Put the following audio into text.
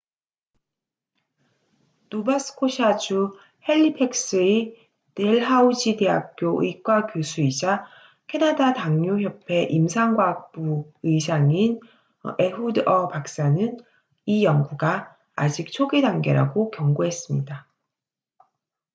노바스코샤주 핼리팩스의 댈하우지대학교 의과 교수이자 캐나다 당뇨 협회 임상과학부 의장인 ehud ur 박사는 이 연구가 아직 초기 단계라고 경고했습니다